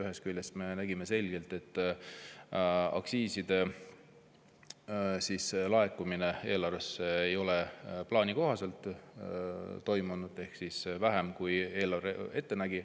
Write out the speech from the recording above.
Ühest küljest me näeme selgelt, et aktsiisid ei ole eelarvesse laekunud plaani kohaselt ehk vähem, kui eelarve ette nägi.